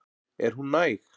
Er hún næg?